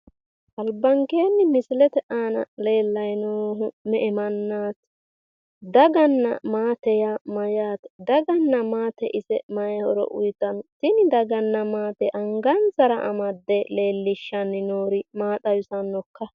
Albaankenni misilete aana leellayi noohu me"e mannaati? Daganna maate yaa ise mayyaate? daganna maate ise maayi horo uyiitanno? tini daganna maate angansara amadde leellisjshanni. noori maa xawisannokka?